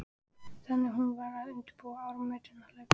Þannig að hún varð að undirbúa áramótin á hlaupum.